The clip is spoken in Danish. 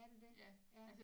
Er det det ja